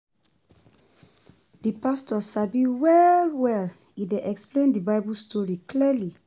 Di pastor sabi well well, e dey explain di Bible story clearly.